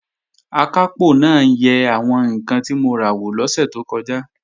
Akápò náà yẹ àwọn ǹkan tí mo ra wò lọ́sẹ̀ tó kọjá